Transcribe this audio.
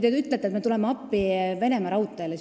Te ütlete, et me tuleme appi Venemaa Raudteedele.